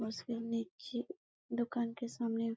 machine की दुकान के सामने--